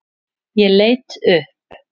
Ég leit upp.